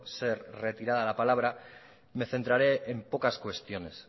ser retirada la palabra me centraré en pocas cuestiones